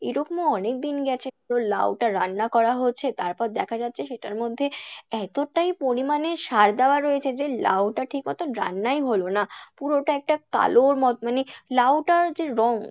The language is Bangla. এরকমও অনেক দিন গেছে পুরো লাউ টা রান্না করা হচ্ছে তারপর দেখা যাচ্ছে সেটার মধ্যে এতটাই পরিমাণে সার দেওয়া রয়েছে, যে লাউ টা ঠিক মত রান্নাই হলো না পুরোটা একটা কালোর মত মানে লাউটার যে রঙ